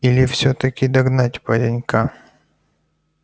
или всё-таки догнать паренька